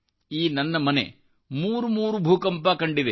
ಈ ನನ್ನ ಮನೆ ಮೂರುಮೂರುಭೂಕಂಪಗಳನ್ನು ಕಂಡಿದೆ